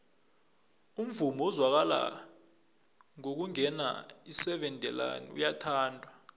umvumo ozwakala nakungena iseven delaan uyathandwa